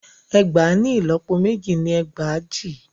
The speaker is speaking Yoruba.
Ẹgbàá ni ìlọ́pọ méjì ni ẹgbàajì.